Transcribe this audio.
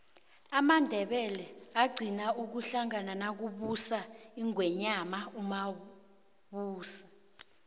amandebele agqina ukuhlangana nakubusa ingwenyama umusi